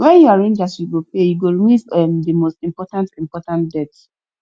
wen yu arrange as you go pay yu go remove um the most important important debt